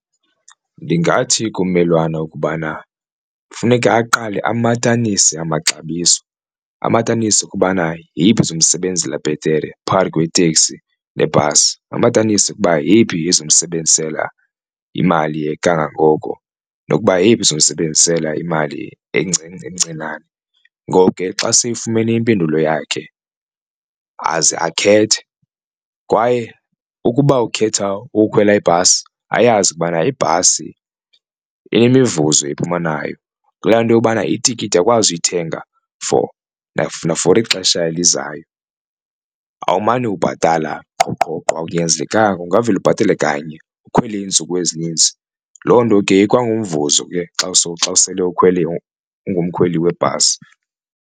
Ndingathi kummelwane ukubana funeka aqale amatanise amaxabiso amatanise ukubana yeyiphi ezomsebenzela bhetere phakathi kweteksi nebhasi, amatanise ukuba yeyiphi ezomsebenzisela imali kangangoko nokuba yeyiphi ezomsebenzisela imali encinane. Ngoko ke xa seyifumene impendulo yakhe aze akhethe kwaye ukuba ukhetha ukukhwela ibhasi ayazi ubana ibhasi inemivuzo ephuma nayo kulaa nto yobana itikiti uyakwazi uyithenga for nafori ixesha elizayo. Awumane ubhatala qho qho qho akunyanzelekanga ungavela ubhatale kanye ukhwele iintsuku ezininzi, loo nto ke ikwangumvuzo ke xa xa usele ukhwele ungumkhweli webhasi.